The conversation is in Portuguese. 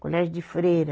Colégio de Freira.